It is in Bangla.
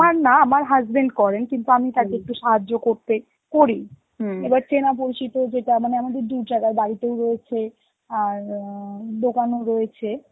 আমার না, আমার husband করেন কিন্তু আমি থাকি সাহায্য করতে, করি এবার চেনা পরিচিত যেটা মানে আমাদের দু জায়গায় বাড়িতেও রয়েছে, আর আঁ দোকানেও রয়েছে,